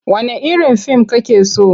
Wanne irin fim kake so?